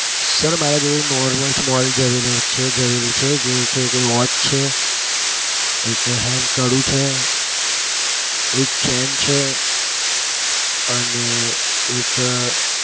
sir મારા જોડે એક normal small જવેરી છે. જે છે એક watch છે એક hand કડું છે. અને એક chain છે. અને એક